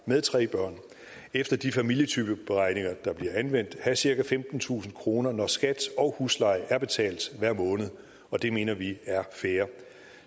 med tre børn efter de familietypeberegninger der bliver anvendt have cirka femtentusind kroner når skat og husleje er betalt og det mener vi er fair